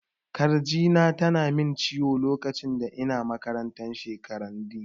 Kirji na tana min ciwo lokacin da ina makarantar sekandiri